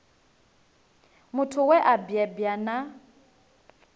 muthu we a bebwa na